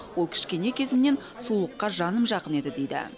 ол кішкене кезімнен сұлулыққа жаным жақын еді дейді